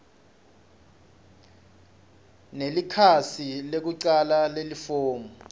nelikhasi lekucala lelifomu